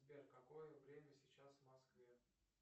сбер какое время сейчас в москве